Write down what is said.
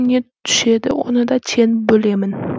не түседі оны да тең бөлемін